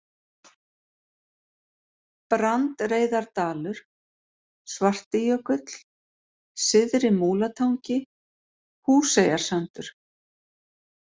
Brandreiðardalur, Svartijökull, Syðri-Múlatangi, Húseyjarsandur